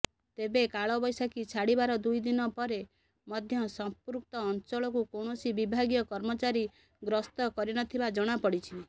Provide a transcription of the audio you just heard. ତେବେ କାଳବୈଶାଖୀ ଛାଡିବାର ଦୁଇଦିନ ପରେ ମଧ୍ୟ ସଂପୃକ୍ତ ଅଂଚଳକୁ କୌଣସି ବିଭାଗୀୟ କର୍ମଚାରୀ ଗ୍ରାସ୍ତ କରିନଥିବା ଜଣାପଡିଛି